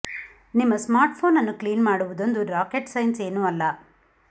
ನಿಮ್ಮ ಸ್ಮಾರ್ಟ್ಫೋನ್ ಅನ್ನು ಕ್ಲೀನ್ ಮಾಡುವುದೊಂದು ರಾಕೆಟ್ ಸೈನ್ಸ್ ಏನು ಅಲ್ಲ